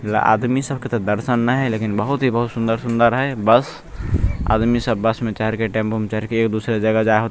ला आदमी सबके दर्शन ने हेय लेकिन बहुत ही बहुत सुन्दर सुन्दर हैय बस आदमी सब बस में चहड़ के टेम्पू में चहड़ के एक दूसरे जगह जा --